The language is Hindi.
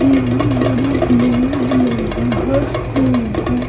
यह पर एक नीले कलर का फर्श के ऊपर --